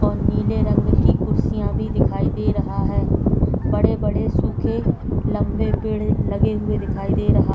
और नीले रंग की कुर्सियां भी दिखाई दे रहा है बड़े-बड़े सूखे लंबे पेड़ लगे हुए दिखाई दे रहा।